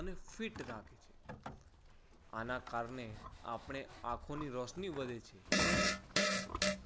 અને fit રાખે છે. આના કારણે આપણે આંખોની રોશની વધે છે.